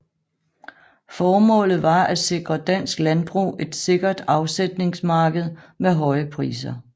Formålet var at sikre dansk landbrug et sikkert afsætningsmarked med høje priser